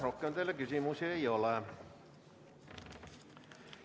Rohkem teile küsimusi ei ole.